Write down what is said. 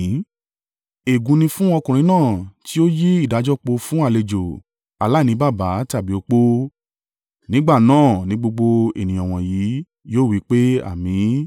“Ègún ni fún ọkùnrin náà tí ó yí ìdájọ́ po fún àlejò, aláìní baba tàbí opó.” Nígbà náà ni gbogbo ènìyàn wọ̀nyí yóò wí pé, “Àmín!”